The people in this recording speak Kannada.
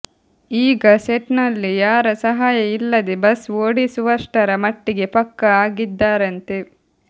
ಈಗ ಸೆಟ್ನಲ್ಲಿ ಯಾರ ಸಹಾಯ ಇಲ್ಲದೆ ಬಸ್ ಓಡಿಸುವಷ್ಟರ ಮಟ್ಟಿಗೆ ಪಕ್ಕಾ ಆಗಿದ್ದಾರಂತೆ